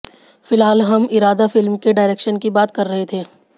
फिलहाल हम इरादा फिल्म के डारेक्शन की बात कर रहे थे